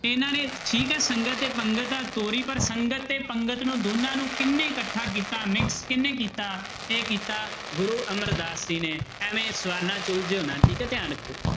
ਇਹਨਾਂ ਨੇ ਠੀਕ ਹੈ ਸੰਗਤ ਤੇ ਪੰਗਤ ਤਾਂ ਤੋਰੀ ਪਰ ਸੰਗਤ ਤੇ ਪੰਗਤ ਨੂੰ ਦੋਨਾਂ ਨੂੰ ਕਿਹਨੇ ਇਕੱਠਾ ਕੀਤਾ mix ਕਿਹਨੇ ਕੀਤਾ ਇਹ ਕੀਤਾ ਗੁਰੂ ਅਮਰਦਾਸ ਜੀ ਨੇ ਐਵੇਂ ਸਵਾਲਾਂ ਠੀਕ ਹੈ ਧਿਆਨ ਰੱਖਿਓ